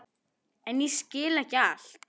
En ég skil ekki allt.